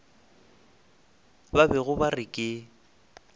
ba bego ba re ke